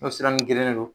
N'o sira n gerenen don